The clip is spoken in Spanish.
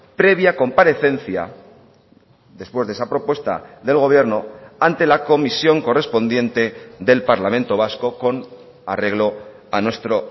previa comparecencia después de esa propuesta del gobierno ante la comisión correspondiente del parlamento vasco con arreglo a nuestro